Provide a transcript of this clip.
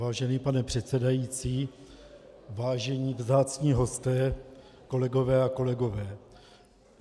Vážený pane předsedající, vážení vzácní hosté, kolegyně a kolegové.